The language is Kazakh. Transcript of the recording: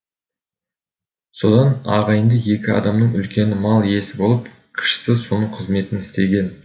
содан ағайынды екі адамның үлкені мал иесі болып кішісі соның қызметін істеген